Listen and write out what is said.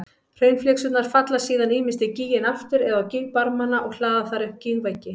Hraunflygsurnar falla síðan ýmist í gíginn aftur eða á gígbarmana og hlaða þar upp gígveggi.